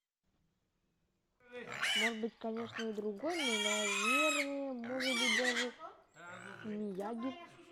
может быть конечно и другой но наверное может быть даже мияги